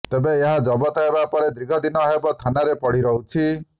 ତେବେ ଏହା ଜବତ ହେବା ପରେ ଦୀର୍ଘ ଦିନ ହେବ ଥାନାରେ ପଡି ରହୁଛି